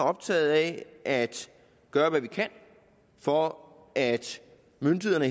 optaget af at gøre hvad vi kan for at myndighederne